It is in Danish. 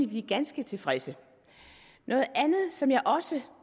blive ganske tilfredse noget andet som jeg også